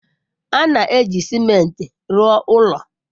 A na-eji ciment rụọ ụlọ.